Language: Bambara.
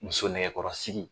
Muso nɛgɛkɔrɔsigi.